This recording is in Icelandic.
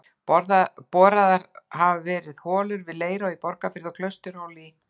Boraðar hafa verið holur við Leirá í Borgarfirði og Klausturhóla í